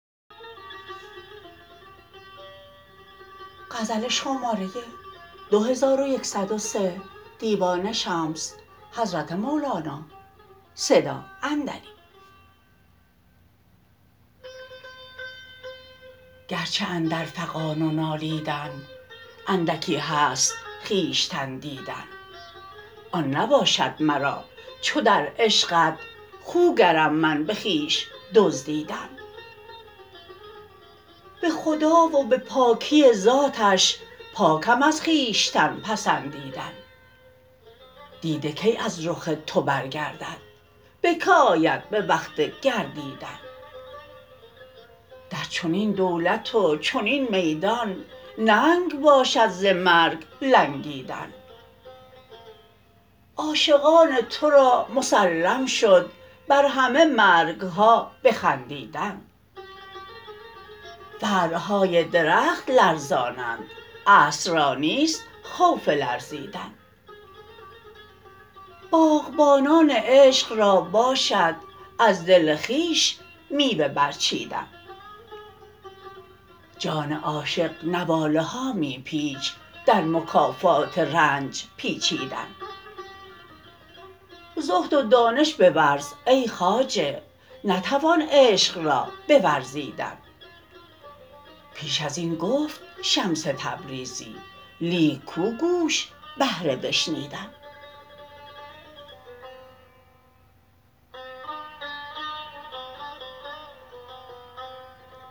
گرچه اندر فغان و نالیدن اندکی هست خویشتن دیدن آن نباشد مرا چو در عشقت خوگرم من به خویش دزدیدن به خدا و به پاکی ذاتش پاکم از خویشتن پسندیدن دیده کی از رخ تو برگردد به که آید به وقت گردیدن در چنین دولت و چنین میدان ننگ باشد ز مرگ لنگیدن عاشقان تو را مسلم شد بر همه مرگ ها بخندیدن فرع های درخت لرزانند اصل را نیست خوف لرزیدن باغبانان عشق را باشد از دل خویش میوه برچیدن جان عاشق نواله ها می پیچ در مکافات رنج پیچیدن زهد و دانش بورز ای خواجه نتوان عشق را بورزیدن پیش از این گفت شمس تبریزی لیک کو گوش بهر بشنیدن